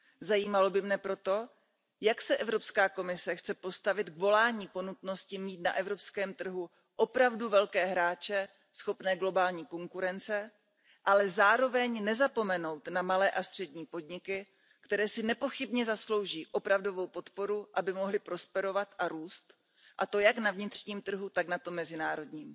Zajímalo by mne proto, jak se Evropská komise chce postavit k volání po nutnosti mít na evropském trhu opravdu velké hráče schopné globální konkurence, ale zároveň nezapomenout na malé a střední podniky, které si nepochybně zaslouží opravdovou podporu, aby mohly prosperovat a růst, a to jak na vnitřním trhu, tak na tom mezinárodním.